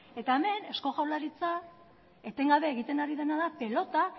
eta hemen eusko jaurlaritza etengabe ari dena da pelota